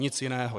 Nic jiného.